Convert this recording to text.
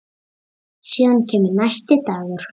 Síðan kemur næsti dagur.